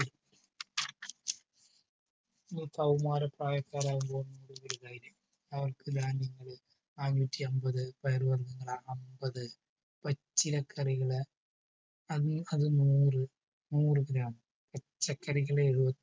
കൗമാരപ്രായക്കാരാവുമ്പോൾ അവർക്ക് ധാന്യങ്ങള് നാനൂറ്റി അമ്പത് പയർ വർഗങ്ങള് അമ്പത് പച്ചിലക്കറികള് അത് അത് നൂറ് നൂറ് gram പച്ചക്കറികൾ എഴുപത്തഞ്ചു